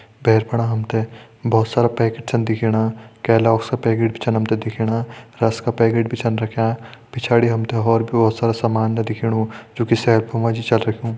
भेर फणा हम तें भोत सारा पैकेट छन दिखेणा केलॉगस का पैकेट छन हम तें दिखेणा रस का पैकेट भी छन रख्यां पिछाड़ी हम तें होर भी भोत सारो सामान जु की सेफ मां छा रखयूं।